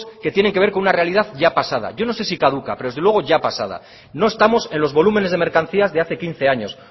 que tienen que ver con una realidad ya pasada yo no sé si caduca pero desde luego ya pasada no estamos en los volúmenes de mercancías de hace quince años